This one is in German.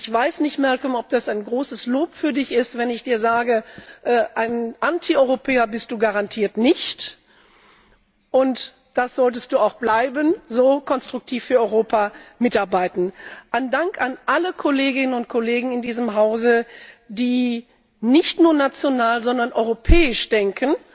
Ich weiß nicht, Malcolm, ob das ein großes Lob für Dich ist, wenn ich Dir sage Ein Anti Europäer bist Du garantiert nicht! So solltest Du auch bleiben und so konstruktiv für Europa mitarbeiten. Einen Dank an alle Kolleginnen und Kollegen in diesem Hause, die nicht nur national, sondern europäisch denken,